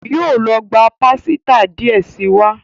Yóó ló gbà pàsìta díẹ sí wá.